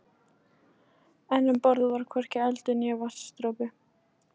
En um borð var hvorki eldur né vatnsdropi.